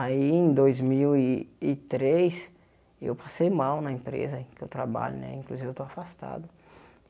Aí, em dois mil e e três, eu passei mal na empresa em que eu trabalho né, inclusive eu estou afastado.